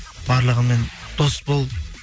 барлығымен дос бол